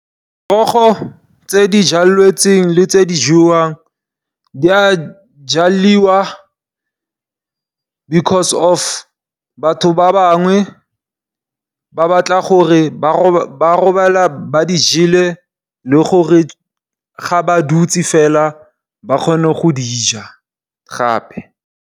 Merogo e jalwang le e jewang e a jalwa because, of batho ba bangwe ba batla gore ba robale ba e jele, le gore ga ba dutse fela ba kgone go eja gape.